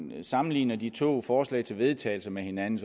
når jeg sammenligner de to forslag til vedtagelse med hinanden